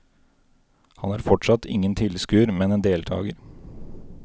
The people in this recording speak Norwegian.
Han er fortsatt ingen tilskuer, men en deltager.